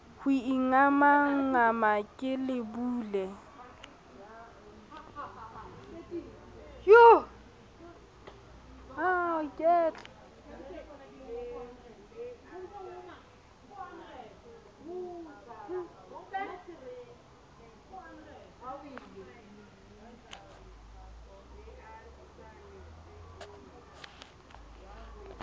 ho ingamangama ke le bule